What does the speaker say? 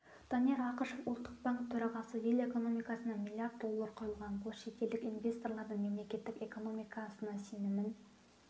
данияр ақышев ұлттық банк төрағасы ел экономикасына миллиард доллар құйылған бұл шетелдік инвесторлардың мемлекеттің экономикасына сенімін